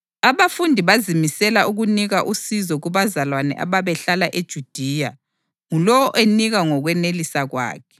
Abafundi bazimisela ukunika usizo kubazalwane ababehlala eJudiya, ngulowo enika ngokwenelisa kwakhe.